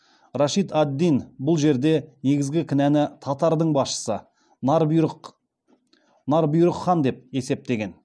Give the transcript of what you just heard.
рашид ад дин бұл жерде негізгі кінәны татардың басшысы нар бұйрық хан деп есептеген